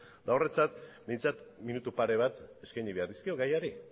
eta horretaz behintzat minutu pare bat eskaini behar dizkiot gaiari